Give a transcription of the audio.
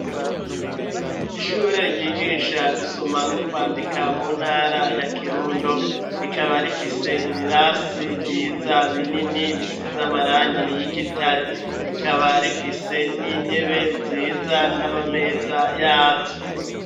Ishure ryigisha gusoma no kwandika mu ntara ya Kirundo. Rikaba rifise ibirasi vyiza, binini bisize amarangi y'igitare. Rikaba rifise n'intebe nziza n'amameza yazo.